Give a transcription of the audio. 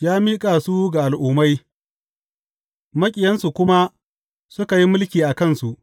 Ya miƙa su ga al’ummai, maƙiyansu kuma suka yi mulki a kansu.